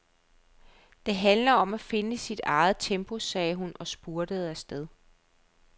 Det handler om at finde sit eget tempo, sagde hun og spurtede afsted.